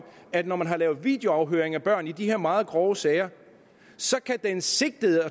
at når man laver videoafhøringer af børn i de her meget grove sager kan den sigtede